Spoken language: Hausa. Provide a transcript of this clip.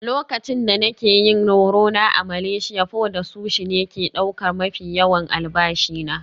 Lokacin da nake yin horo na a Malaysia, pho da sushi ne ke ɗaukar mafi yawan albashi na.